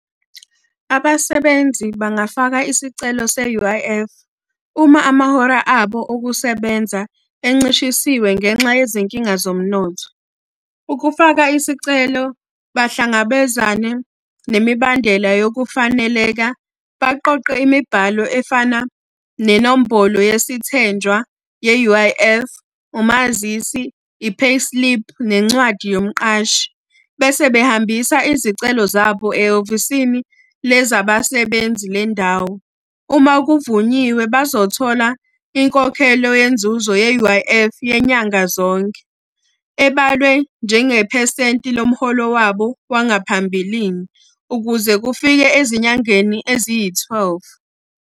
Abasebenzi bangafaka isicelo se-U_I_F, uma amahora abo okusebenza encishisiwe ngenxa yezinkinga zomnotho. Ukufaka isicelo, bahlangabezane nemibandela yokufaneleka, baqoqe imibhalo efana nenombolo yesithenjwa ye-U_I_F, umazisi, i-payslip, nencwadi yomqashi. Bese behambisa izicelo zabo ehhovisini le zabasebenzi le ndawo. Uma kuvunyiwe bazothola inkokhelo yenzuzo ye-U_I_F yenyanga zonke. Ebalwe njengephesenti lomholo wangaphambilini, ukuze kufike ezinyangeni eziyi-twelve.